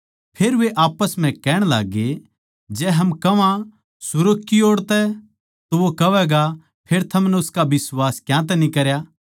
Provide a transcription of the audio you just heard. फेर वे आप्पस म्ह कहण लाग्गे जै हम कह्वां सुर्ग की ओड़ तो वो कहवैगा फेर थमनै उसका बिश्वास क्यांतै न्ही करया